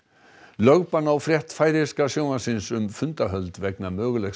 lögbann á frétt færeyska sjónvarpsins um fundahöld vegna mögulegs